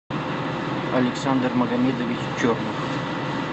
александр магомедович черный